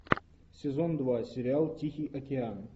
сезон два сериал тихий океан